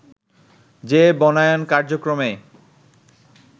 যে বনায়ন কার্যক্রমে